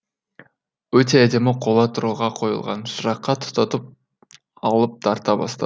өте әдемі қола тұрғыға қойылған шыраққа тұтатып алып тарта бастадым